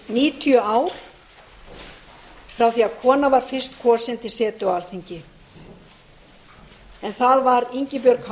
níutíu ár frá því að kona var fyrst kosin til setu á alþingi en það var ingibjörg h